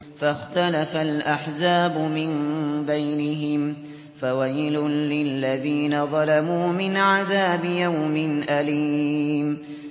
فَاخْتَلَفَ الْأَحْزَابُ مِن بَيْنِهِمْ ۖ فَوَيْلٌ لِّلَّذِينَ ظَلَمُوا مِنْ عَذَابِ يَوْمٍ أَلِيمٍ